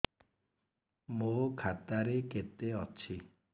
ମୋ ଖାତା ରେ କେତେ ଅଛି